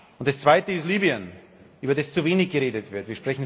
Und das Zweite ist Libyen, über das zu wenig geredet wird.